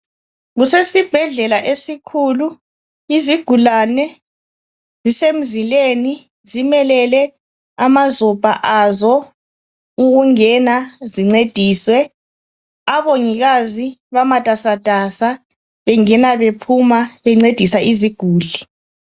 Kusesibhedlela esikhulu, izigulane zisemzileni ,zimelele amazopha azo ukungena zincediswe. Abongikazi bamatasatasa bengena bephuma bencedisa iziguli.